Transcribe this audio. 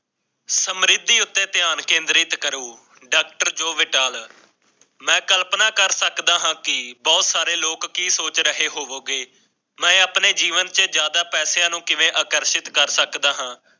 ਅਮਰੀਕੀ ਅਤੇ ਧਿਆਨ ਕੇਂਦਰਿਤ ਕਰੋ ਡਾਕਟਰ ਜੋੜੇ ਡਾਲਰਾਂ ਕਲਪਨਾ ਕਰ ਸਕਦਾ ਹਾਂ ਕਿ ਬਹੁਤ ਸਾਰੇ ਲੋਕ ਸੋਚ ਰਹੇ ਹੋਵੋਗੇ ਕਿ ਜਿਆਦਾ ਪੈਸਿਆਂ ਨੂੰ ਕਿਵੇਂ ਕਰ ਸਕਦਾ ਹੈ